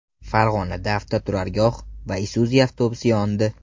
Farg‘onada avtoturargoh va Isuzu avtobusi yondi.